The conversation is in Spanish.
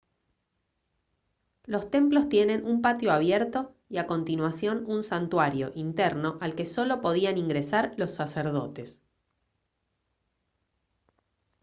los templos tienen un patio abierto y a continuación un santuario interno al que solo podían ingresar los sacerdotes